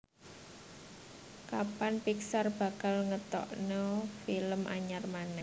Kapan Pixar bakal ngetokno film anyar maneh